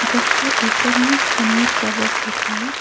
बस के ऊपर में समीर ट्रैवल्स लिखा हुआ है।